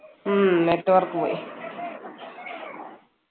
ഉം network പോയി